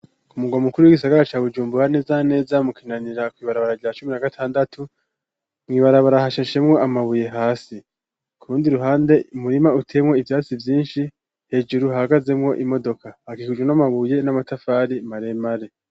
Kumurwa mukuru wisagara ca Bujumbura neza na neza mu Kinanira kw'ibarabara rya cumi na gatandatu, mwibarabara hasheshemwo amabuye hasi. Ku rundi ruhande umurima uteyemwo ivyatsi vyinshi hejuru hahagazemwo imodoka hakikijwe n'amabuye n'amatafari maremare.